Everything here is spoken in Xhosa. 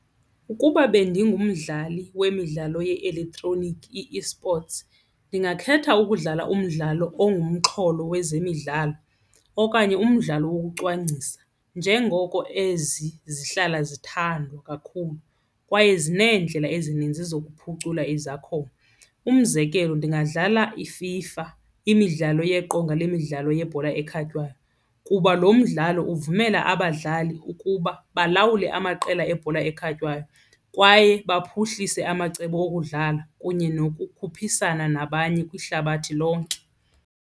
Ukuba bendingumdlali wemidlalo ye-elektroniki, i-esports, ndingakhetha ukudlala umdlalo ongumxholo wezemidlalo okanye umdlalo wokucwangciswa njengoko ezi zihlala zithandwa kakhulu kwaye zineendlela ezininzi zokuphucula izakhono. Umzekelo ndingadlala iFIFA, imidlalo yeqonga lemidlalo yebhola ekhatywayo, kuba lo mdlalo uvumela abadlali ukuba balawule amaqela ebhola ekhatywayo kwaye baphuhlise amacebo okudlala kunye yokukhuphisana nabanye kwihlabathi lonke.